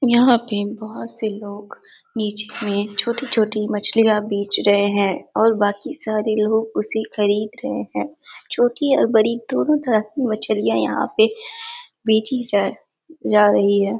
यहाँ पे बहुत से लोग नीचे में छोटी-छोटी मछलियाँ बेच रहे हैं और बाकी सारे लोग उसे खरीद रहे हैं छोटी और बड़ी दोनों तरह की मछलियाँ यहाँ पे बेचीं जा रही है।